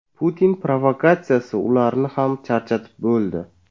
Putin provokatsiyasi ularni ham charchatib bo‘ldi.